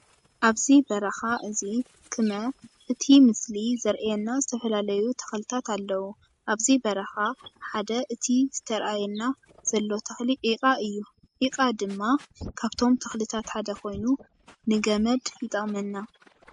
ኣብዚ በረካ እዚ ክመ እቲ ምስሊ ዘርእየና ዝተፈላለዩ ተክልታት ኣለዉ። ኣብዚ በረካ ሓደ እቲ ዝተአየና ዘሎ ተክሊ ዒቃ እዩ። ዒቃ ድማ ካብቶም ተክልታት ሓደ ኮይኑ ንገመድ ይጠቅመና።